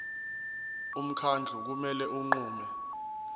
umkhandlu kumele unqume